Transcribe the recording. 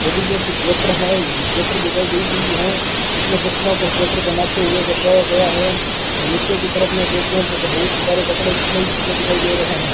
लेडीजो की स्वेटर है स्वेटर दिखाई दे गई हैं इसमें पुतलों को स्वेटर पेहनाते हुए दर्शाया गया है नीचे की तरफ में देखे तो बहुत ही सारे कपड़े कपड़े ही दिखाई दे रहे हैं।